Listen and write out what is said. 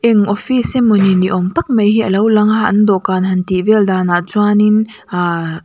eng office emawni ni awm tak mai hi alo lang a an dawhkan han tih vel dan ah chuan in ahh--